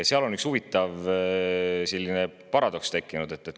Seal on üks huvitav paradoks tekkinud.